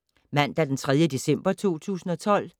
Mandag d. 3. december 2012